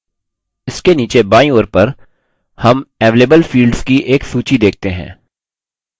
इसके नीचे बायीं ओर पर हम available fields की एक सूची देखते हैं